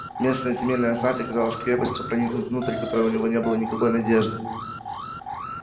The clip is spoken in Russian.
местная земельная знать оказалась крепостью проникнуть внутрь которой у него не было никакой надежды